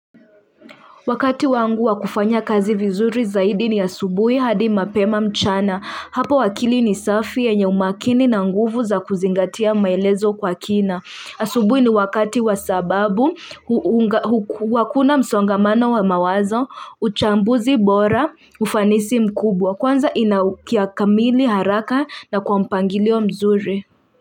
Wakati wangu wakufanya kazi vizuri zaidi ni asubui hadi mapema mchana. Hapo akili ni safi enya umakini na nguvu za kuzingatia maelezo kwa kina. Asubui ni wakati wasababu wakuna msongamana wa mawazo, uchambuzi bora, ufanisi mkubwa. Kwanza inaukiya kamili haraka na kwa mpangili wa mzuri.